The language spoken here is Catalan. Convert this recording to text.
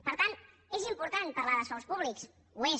per tant és important parlar de sous públics ho és